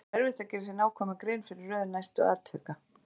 Það var erfitt að gera sér nákvæma grein fyrir röð næstu atvika.